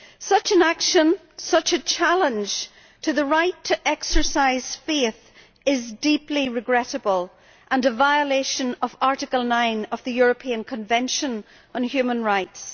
Such an action, such a challenge to the right to exercise faith is deeply regrettable and a violation of Article 9 of the European Convention on Human Rights.